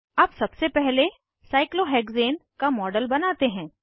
अब सबसे पहले साइक्लोहेक्सेन का मॉडल बनाते हैं